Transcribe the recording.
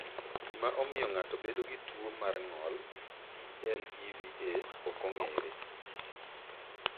Gima omiyo ng’ato bedo gi tuwo mar ng’ol (PLEVA) ok ong’ere.